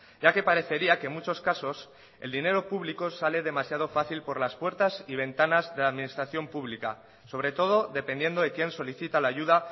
ya que parecería que en muchos casos el dinero público sale demasiado fácil por las puertas y ventanas de la administración pública sobre todo dependiendo de quién solicita la ayuda